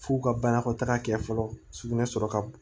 F'u ka banakɔtaga kɛ fɔlɔ sugunɛ sɔrɔ ka bon